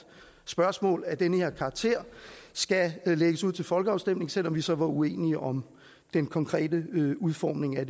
spørgsmål af den her karakter skal lægges ud til folkeafstemning selv om vi så var uenige om den konkrete udformning af